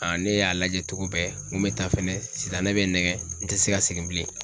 ne y'a lajɛ togo bɛɛ n ko mɛ taa fɛnɛ sitanɛ bɛ n nɛgɛ n tɛ se ka segin bilen